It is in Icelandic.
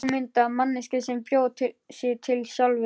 Ljúflynda manneskju sem bjó sig til sjálf.